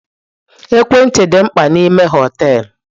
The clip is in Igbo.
Ekwentị dị mkpa n'ime hoteelu.